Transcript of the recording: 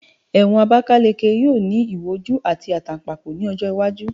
Ewon Abakaleke yoo ni iwo oju ati atanpako ni ojo iwaju